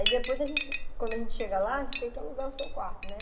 Aí depois a gente, quando a gente chega lá, a gente tem que alugar o seu quarto, né?